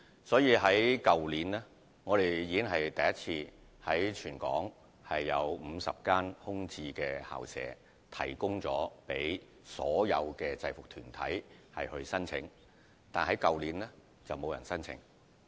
所以，我們去年已第一次提供全港50多間空置校舍讓制服團體申請，只是去年並沒有團體提出申請。